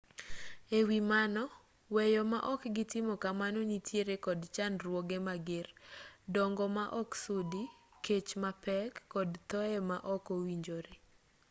e wi mano weyo ma ok gitimo kamano nitiere kod chandruoge mager dongo ma oksudi kech mapek kod thoye ma ok owinjore